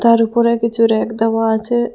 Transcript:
তার উপরে কিছু রেক দেওয়া আচে ।